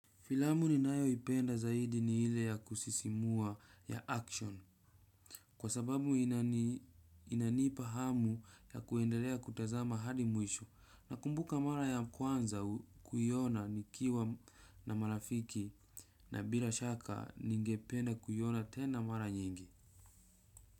Filamu ninayoipenda zaidi ni ile ya kusisimua ya action kwa sababu inanipa hamu ya kuendelea kutazama hadi mwisho nakumbuka mara ya kwanza kuiona nikiwa na marafiki na bila shaka ningependa kuiona tena mara nyingi.